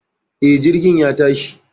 E, Jirgin ya tashi